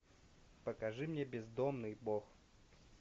покажи мне бездомный бог